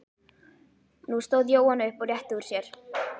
Nú stóð Jóhann upp og rétti úr sér.